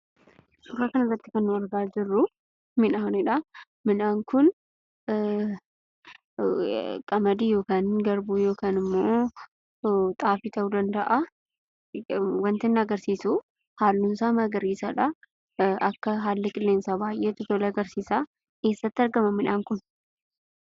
Suuraa kanarratti kan nuti argaa jirruu midhaaniidha. Midhaan kun qamadii yookiin garbuu yookiin ammoo xaafii ta'uu danda'a. Wanta inni agarsiisuu haalluunsaa magariisaadha. Akka haalli qilleensaa baayyee itti tole agarsiisa. Eessatti argama midhaan kun?